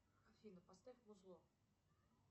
афина поставь музло